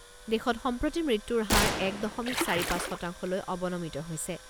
দেশত সম্প্ৰতি মৃত্যুৰ হাৰ এক দশমিক চাৰি পাঁচ শতাংশলৈ অৱনমিত হৈছে।